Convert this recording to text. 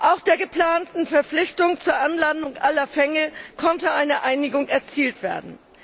Auch bei der geplanten Verpflichtung zur Anlandung aller Fänge konnte eine Einigung erzielt werden.